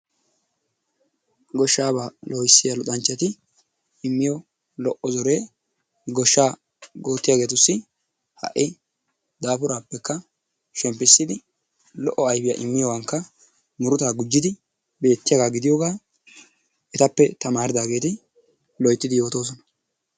Goshshaabaa loohissiya luxanchchati immiyo lo"o zoree goshshaa oottiyageetussi ha'i daapuraappekka shemppissidi lo"o ayfiya immiyogaankka muruta gujjidi beettiyaagaa gidiyogaa etappe tamaaridaageeti loyttidi yoottosona.